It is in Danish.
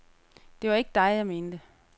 Det var ikke dig, jeg mente.